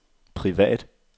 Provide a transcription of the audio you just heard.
privat